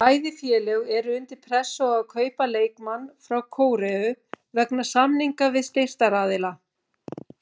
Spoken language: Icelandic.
Bæði félög eru undir pressu á að kaupa leikmann frá Kóreu vegna samninga við styrktaraðila.